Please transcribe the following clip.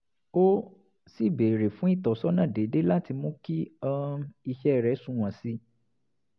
ó sì béèrè fún ìtọ́sọ́nà déédéé láti mú kí um iṣẹ́ rẹ̀ sunwọ̀n sí i